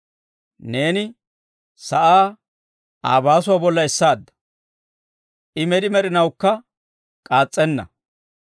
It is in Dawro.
Neeni sa'aa Aa baasuwaa bolla essaadda; I med'i med'inawukka k'aas's'enna.